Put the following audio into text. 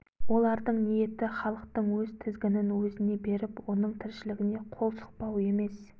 олардың ниеті халықтың өз тізгінін өзіне беріп оның тіршілігіне қол сұқпау емес